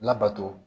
Labato